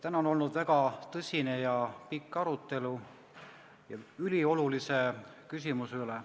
Täna on olnud väga tõsine ja pikk arutelu üliolulise küsimuse üle.